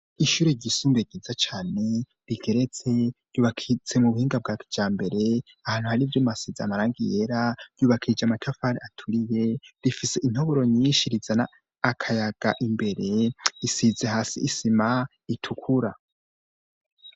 Ishure ryisumbuye ryiza cane rigeretse, ryubakitse mu buhinga bwa kijambere ahantu hari ivyuma bisize amarangi yera, ryubakije amatafari aturiye, rifise intoboro nyinshi zizana akayaga imbere, risize hasi isima itukura.